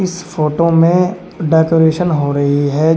इस फोटो में डेकोरेशन हो रही है।